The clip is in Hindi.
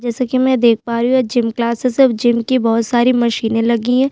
जैसा की में यहाँ देख पा रही हू यहाँ एक जिम क्लासेस है और जिम की बहोत सारी मशीन लगी हुई है।